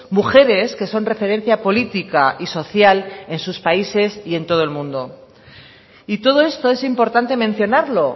mujeres que son referencia política y social en sus países y en todo el mundo y todo esto es importante mencionarlo